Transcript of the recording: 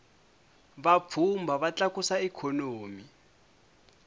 vapfhumba va tlakusa ikhonomi